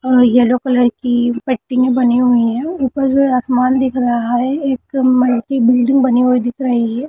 अ yellow colour की पट्टियाँ बनी हुई है ऊपर से आसमान दिख रहा है एक मल्टी बिल्डिंग बनी हुई दिख रही है।